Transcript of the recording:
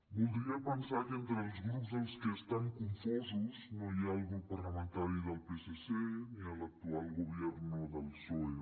voldria pensar que entre els grups dels que estan confosos no hi ha el grup parlamentari del psc ni l’actual gobierno del psoe